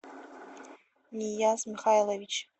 нияз михайлович